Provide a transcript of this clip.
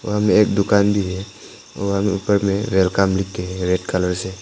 वहां में एक दुकान भी है वहां में ऊपर मे वेलकम लिखके है रेड कलर से।